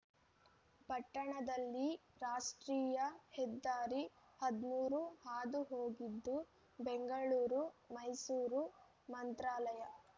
ಪಟ್ಟಣದಲ್ಲಿ ರಾಷ್ಟ್ರೀಯ ಹೆದ್ದಾರಿ ಹದಿಮೂರು ಹಾದು ಹೋಗಿದ್ದು ಬೆಂಗಳೂರು ಮೈಸೂರು ಮಂತ್ರಾಲಯ